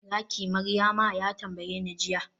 zaki Maryama?, ya tambayeni jiya